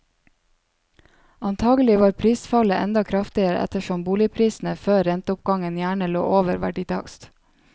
Antagelig var prisfallet enda kraftigere ettersom boligprisene før renteoppgangen gjerne lå over verditakst.